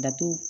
Bato